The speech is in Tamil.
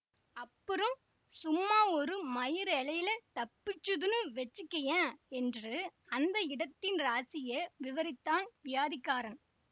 அப்புறம் சும்மா ஒரு மயிரிழையிலே தப்பிச்சிதுன்னு வெச்சிக்கியேன் என்று அந்த இடத்தின் ராசியை விவரித்தான் வியாதிக்காரன்